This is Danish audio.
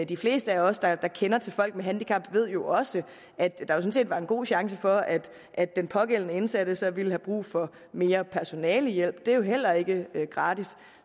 de fleste af os der der kender til folk med handicap ved jo også at der jo sådan set var en god chance for at at den pågældende indsatte så ville have brug for mere personalehjælp det er jo heller ikke gratis